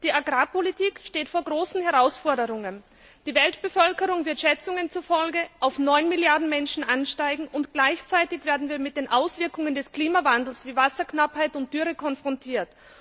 Die Agrarpolitik steht vor großen Herausforderungen. Die Weltbevölkerung wird Schätzungen zufolge auf 9 Milliarden Menschen ansteigen, und gleichzeitig werden wir mit den Auswirkungen des Klimawandels wie Wasserknappheit und Dürre konfrontiert.